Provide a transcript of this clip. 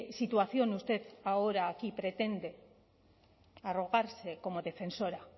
situación usted ahora aquí pretende arrogarse como defensora